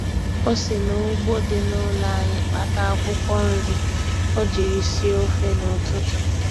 O si n'ugbo dị n'ụlọ anyị kpata akwụkwọ nri o jiri sie ofe n'ụtụtụ.